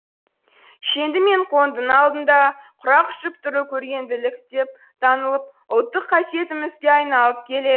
шенді мен қоңдының алдында құрақ ұшып тұру көргенділік деп танылып ұлттық қасиетімізге айналып келеді